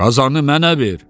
Qazanı mənə ver.